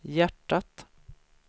hjärtat